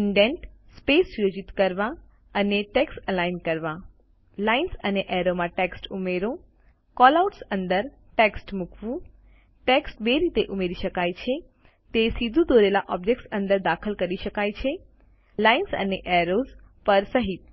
indents space સુયોજિત કરવા અને ટેક્સ્ટ અલાઇન કરવા લાઇન્સ અને એરોમાં ટેક્સ્ટ ઉમેરો કેલઆઉટ્સ અંદર ટેક્સ્ટ મુકવું ટેક્સ્ટ બે રીતે ઉમેરી શકાય છે તે સીધુ દોરેલા ઓબ્જેક્ટ અંદર દાખલ કરી શકાય છે લાઇન અને એરોઝ પર સહીત